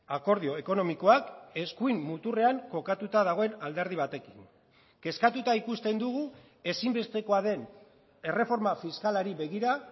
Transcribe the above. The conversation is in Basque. akordio ekonomikoak eskuin muturrean kokatuta dagoen alderdi batekin kezkatuta ikusten dugu ezinbestekoa den erreforma fiskalari begira